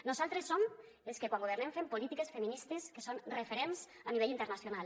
nosaltres som els que quan governem fem polítiques feministes que són referents a nivell internacional